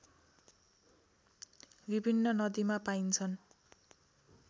विभिन्न नदीमा पाइन्छन्